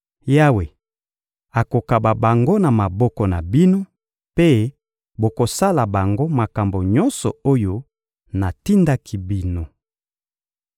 Yawe akokaba bango na maboko na bino mpe bokosala bango makambo nyonso oyo natindaki bino.